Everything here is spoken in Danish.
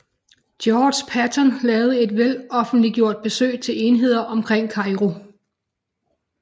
George Patton lavede et veloffentliggjort besøg til enheder omkring Kairo